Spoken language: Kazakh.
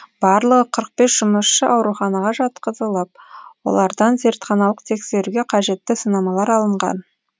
барлығы қырық бес жұмысшы ауруханаға жатқызылып олардан зертханалық тексеруге қажетті сынамалар алынған